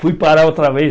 Fui parar outra vez.